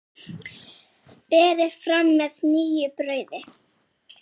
Berið fram með nýju brauði.